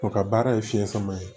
O ka baara ye fiɲɛ sama ye